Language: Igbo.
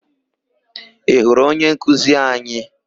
Ị hụrụ onyenkuzi anyị?